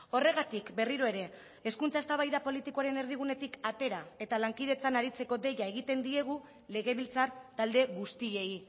horregatik berriro ere hezkuntza eztabaida politikoaren erdigunetik atera eta lankidetzan aritzeko deia egiten diegu legebiltzar talde guztiei